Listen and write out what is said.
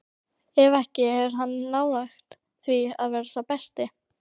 Ef ekki, er hann nálægt því að vera sá besti?